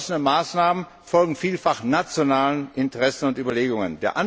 Die beschlossenen Maßnahmen folgen vielfach nationalen Interessen und Überlegungen.